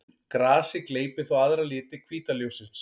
Grasið gleypir þá aðra liti hvíta ljóssins.